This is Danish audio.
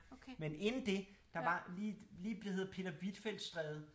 Men inden det der var lige det hedder Peter Hvitfeldts Stræde